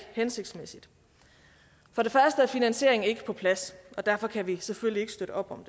hensigtsmæssigt for det første er finansieringen ikke på plads og derfor kan vi selvfølgelig ikke støtte op om